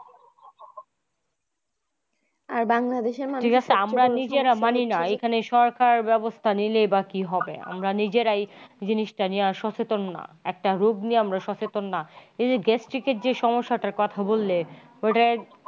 আমরা নিজেরা মানিনা এইখানে সরকার ব্যাবস্থা নেই বা কি হবে আমরা নিজেরাই জিনিসটা নিয়ে সচেতন না। একটা রোগ নিয়ে আমরা সচেতন না। এই যে gastric এর যে সমস্যাটার কথা বললে ওটার।